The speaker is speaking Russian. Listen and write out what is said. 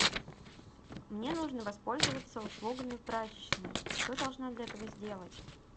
мне нужно воспользоваться услугами прачечной что я должна для этого сделать